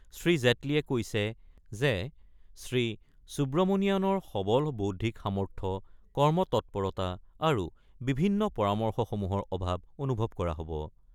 শ্ৰীজেট্লীয়ে কৈছে যে, শ্ৰীসুব্ৰমণিয়াণৰ সৱল বৌদ্ধিক সামৰ্থ্য, কৰ্মতৎপৰতা আৰু বিভিন্ন পৰামৰ্শসমূহৰ অভাৱ অনুভৱ কৰা হ'ব।